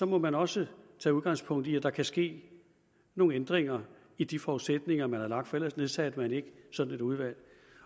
må man også tage udgangspunkt i at der kan ske nogle ændringer i de forudsætninger man har lagt for ellers nedsatte man ikke sådan et udvalg